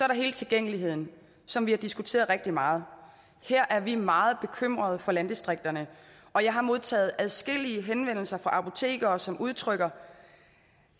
der hele tilgængeligheden som vi har diskuteret rigtig meget her er vi meget bekymrede for landdistrikterne og jeg har modtaget adskillige henvendelser fra apotekere som udtrykker